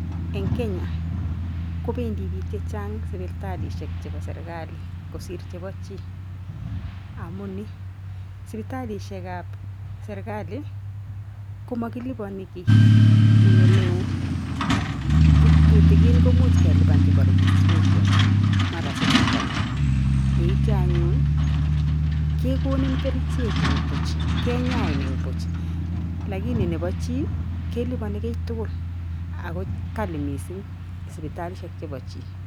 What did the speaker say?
Eng kenya kopedii biik chechang sipitalishek chebo serikali kosir chebo chii. Amuuni sipitalishekab serikali komakiliboni kiy eng oleoo tutikin komuch kemuch keliban chebo registration mara silling konom. Yeityo anyun kekonin kerichek eng buch kenyain eng buch. Lakini nebo chi kelibani kiy tukul ako kali missing sipitalishek chebo chii.